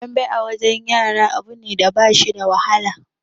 Dambe a wajen yara abu ne da ba shi da wahala